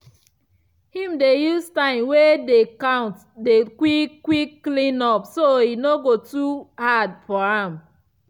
him dey use time wey dey count do quick -quick clean up so e no go too hard for am.